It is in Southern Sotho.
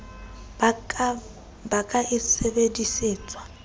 ba ka e ka sebedisetswa